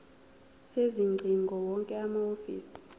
sezingcingo wonke amahhovisi